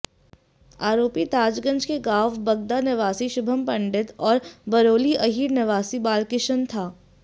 आरोपी ताजगंज के गांव बगदा निवासी शुभम पंडित और बरौली अहीर निवासी बालकिशन था